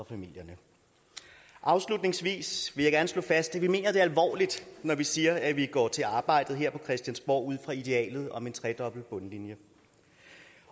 familierne afslutningsvis vil jeg gerne slå fast at vi mener det alvorligt når vi siger at vi går til arbejdet her på christiansborg ud fra idealet om en tredobbelt bundlinje